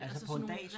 Altså på en dag?